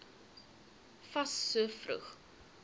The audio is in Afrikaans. fas so vroeg